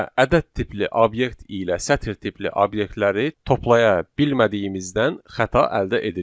Və ədəd tipli obyekt ilə sətr tipli obyektləri toplaya bilmədiyimizdən xəta əldə edirik.